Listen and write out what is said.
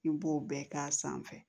I b'o bɛɛ k'a sanfɛ